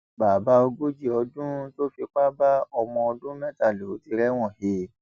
bàbá ogójì ọdún tó fipá bá ọmọ ọdún mẹta ló ti rẹwọn he